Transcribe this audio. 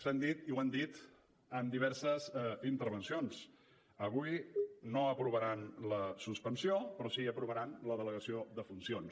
s’ha dit i ho han dit en diverses intervencions avui no aprovaran la suspensió però sí aprovaran la delegació de funcions